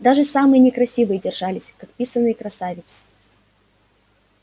даже самые некрасивые держались как писаные красавицы